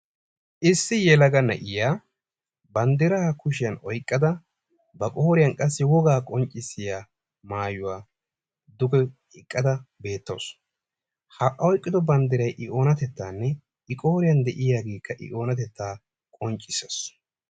Issi yelaga na"iya banddiraa kushiyan oyqqada ba qooriyan qassi wogaa qonccissiya maayuwa duge oyqqada beettawus. Ha oyqqido banddirayi i oonatettaanne i qooriyan de"iyageekka i oonatettaa qonccisses.